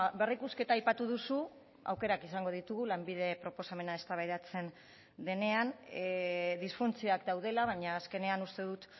berrikusketa aipatu duzu aukerak izango ditugu lanbide proposamena eztabaidatzen denean disfuntzioak daudela baina azkenean uste dut